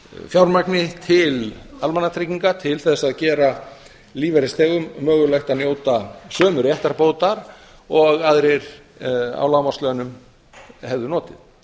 fjármagni til almannatrygginga til þess að gera lífeyrisþegum mögulegt að njóta sömu réttarbótar og aðrir á lágmarkslaunum hefðu notið